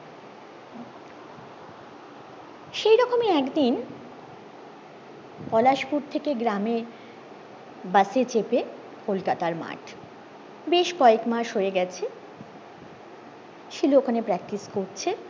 সেইরকমই একদিন পলাশপুর থেকে গ্রামে বসে চেপে কলকাতার মাঠ বেশ কয়েকমাস হয়ে গেছে শিলু ওখানে practiceupport করছে